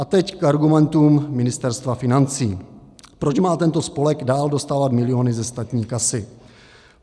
A teď k argumentům Ministerstva financí, proč má tento spolek dál dostávat miliony ze státní kasy.